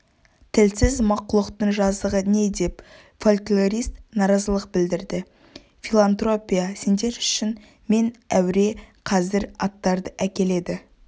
тілсіз мақлұқтың жазығы не деп фольклорист наразылық білдірді филантропия сендер үшін мен әуре қазір аттарды әкеледі